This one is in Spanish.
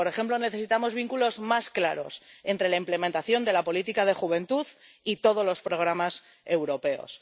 Y, por ejemplo, necesitamos vínculos más claros entre la implementación de la política de juventud y todos los programas europeos